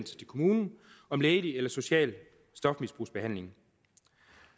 til kommunen om lægelig eller social stofmisbrugsbehandling